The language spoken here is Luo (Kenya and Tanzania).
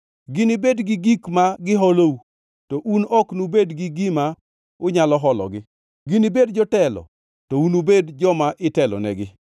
Ginibed gi gik ma giholou, to un ok nubed gi gima unyalo hologi. Ginibed jotelo, to un nubed joma itelonegi.